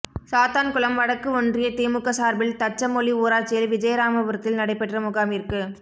சாத்தான்குளம் வடக்கு ஒன்றிய திமுக சாா்பில் தச்சமொழி ஊராட்சியில் விஜயராமபுரத்தில் நடைபெற்ற முகாமிற்கு